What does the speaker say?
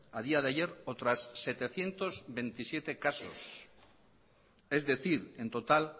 a día de ayer otras setecientos veintisiete caso es decir en total